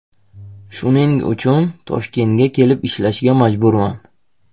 Shuning uchun Toshkentga kelib ishlashga majburman.